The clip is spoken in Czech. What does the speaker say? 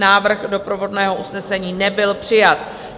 Návrh doprovodného usnesení nebyl přijat.